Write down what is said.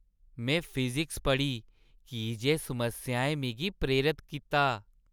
में फिज़िक्स पढ़ी की जे समस्याएं मिगी प्रेरत कीता।